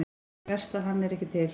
Verst að hann er ekki til.